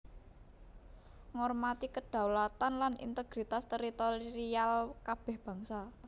Ngormati kedaulatan lan integritas teritorial kabèh bangsa